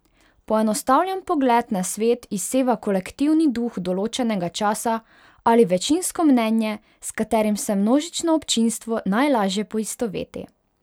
Poenostavljen pogled na svet izseva kolektivni duh določenega časa ali večinsko mnenje, s katerim se množično občinstvo najlaže poistoveti.